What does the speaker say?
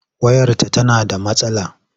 Wayarta tana da matsala.